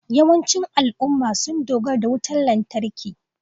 Yawancin al'ummomi sun dogara da wutar lantarki